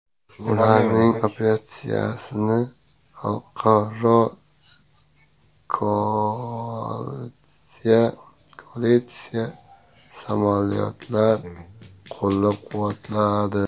Ularning operatsiyasini xalqaro koalitsiya samolyotlari qo‘llab-quvvatladi.